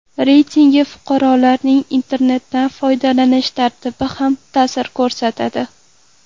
Reytingga fuqarolarning internetdan foydalanish tartibi ham ta’sir ko‘rsatadi.